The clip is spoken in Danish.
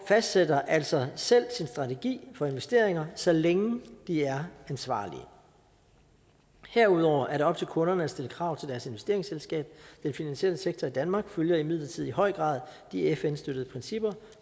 fastsætter altså selv sin strategi for investeringer så længe de er ansvarlige herudover er det op til kunderne at stille krav til deres investeringsselskab den finansielle sektor i danmark følger imidlertid i høj grad de fn støttede principper